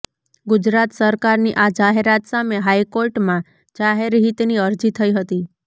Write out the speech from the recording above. ગુજરાત સરકારની આ જાહેરાત સામે હાઈકોર્ટમાં જાહેરહિતની અરજી થઈ હતી